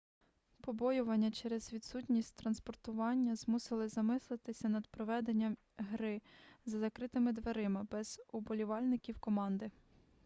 побоювання через відсутність транспортування змусили замислитися над проведенням гри за закритими дверима без уболівальників команди